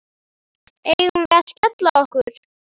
Eigum við að skella okkur?